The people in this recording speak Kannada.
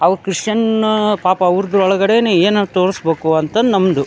ಅವು ಕ್ರಿಶ್ಚನ್ ಪಾಪ ಅವ್ರದ್ರು ಒಳಗಡೆನೆ ಏನೋ ತೋರ್ಸ್ಬೇಕು ಅಂತ ನಮ್ಮದು.